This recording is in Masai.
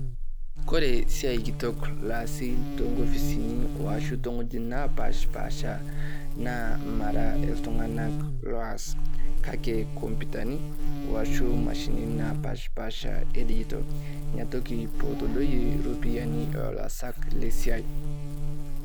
Kore esiaai kitok laasi toonkopisin ashu too wuejitin naapashpasha naa mara iltunganak loaskake kompitani washu mashini napashpasha inapetididoyie iropiyiani oolaasak le siai .